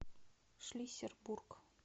шлиссельбург